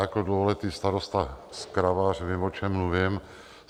Jako dlouholetý starosta z Kravař vím, o čem mluvím.